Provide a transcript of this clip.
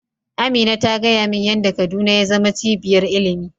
Amina ta gaya min yan da kaduna ya zama cibiyar ilimi